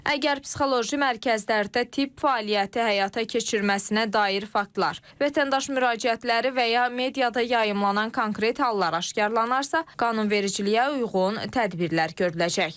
Əgər psixoloji mərkəzlərdə tibb fəaliyyəti həyata keçirməsinə dair faktlar, vətəndaş müraciətləri və ya mediada yayımlanan konkret hallar aşkarlanarsa, qanunvericiliyə uyğun tədbirlər görüləcək.